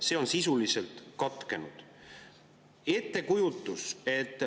See on sisuliselt katkenud.